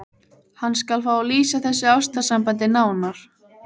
Hann skal fá að lýsa þessu ástarsambandi nánar.